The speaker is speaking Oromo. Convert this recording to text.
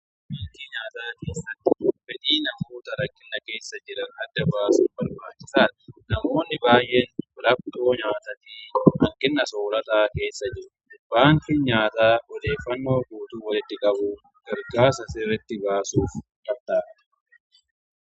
Baankii nyaataa keessatti fedhii namoota rakkinna keessa jiran adda baasun barbaachisaadha. Namoonni baay'een rakkooo nyaataatiin hanqina soorataa keessa jiru. Baankiin nyaataa odeeffannoo guutuu walitti qabuuf gargaara.